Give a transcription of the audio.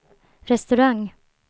restaurang